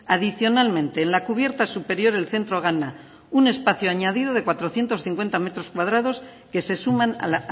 adicionalmente en la cubierta superior el centro gana un espacio añadido de cuatrocientos cincuenta metros cuadrados que se suman a